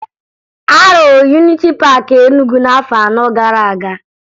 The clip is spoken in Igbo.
A rụrụ Yuniti Paakị Enugwu n'afọ anọ gara aga